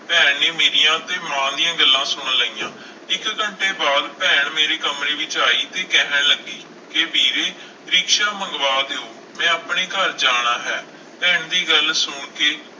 ਭੈਣ ਨੇ ਮੇਰੀਆਂ ਤੇ ਮਾਂ ਦੀਆਂ ਗੱਲਾਂ ਸੁਣ ਲਈਆਂ, ਇੱਕ ਘੰਟੇ ਬਾਅਦ ਭੈਣ ਮੇਰੇ ਕਮਰੇ ਵਿੱਚ ਆਈ ਤੇ ਕਹਿਣ ਲੱਗੀ ਕਿ ਵੀਰੇ ਰਿਕਸ਼ਾ ਮੰਗਵਾ ਦਿਓ, ਮੈਂ ਆਪਣੇ ਘਰ ਜਾਣਾ ਹੈ, ਭੈਣ ਦੀ ਗੱਲ ਸੁਣ ਕੇ